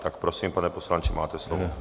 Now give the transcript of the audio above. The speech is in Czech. Tak prosím, pane poslanče, máte slovo.